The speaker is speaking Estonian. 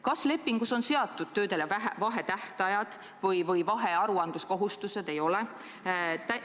Kas lepingus on seatud töödele vahetähtajad või vahearuandekohustused või ei ole?